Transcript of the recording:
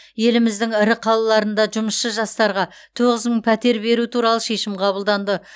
еліміздің ірі қалаларында жұмысшы жастарға тоғыз мың пәтер беру туралы шешім қабылданды